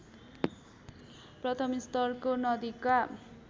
प्रथमस्तरको नदीका